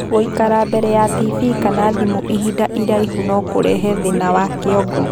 Gũikara mbere ya tibii kana thimũ ihinda iraihu nokũrehe thĩna wa kĩongo